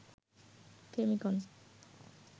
ফেমিকন